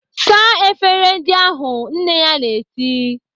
"Saa efere ndị ahụ!" Nne ya na-eti.